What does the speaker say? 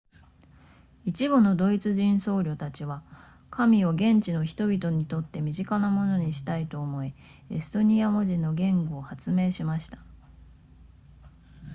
一部のドイツ人僧侶たちは神を現地の人々にとって身近なものにしたいと思いエストニア文字の言語を発明しました